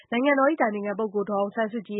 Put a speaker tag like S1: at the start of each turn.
S1: နိုင်ငံတော်အတိုင်ပင်ခံပုဂ္ဂိုလ်ဒေါ်အောင်ဆန်းစုကြည်